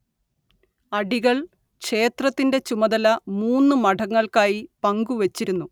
അടികൾ ക്ഷേത്രത്തിൻറെ ചുമതല മൂന്ന് മഠങ്ങൾക്കായി പങ്കുവച്ചിരുന്നു